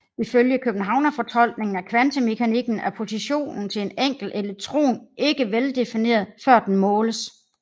Ifølge Københavnerfortolkningen af kvantemekanikken er positionen til en enkelt elektron ikke veldefineret før den måles